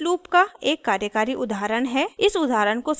मेरे पास each loop का एक कार्यकारी उदाहरण है